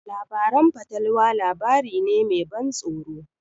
Labarin fatalwa labari ne me ban tsoro.